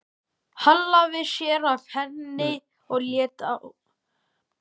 Hallaði sér að henni og leit á klukkuna.